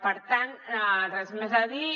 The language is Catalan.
per tant res més a dir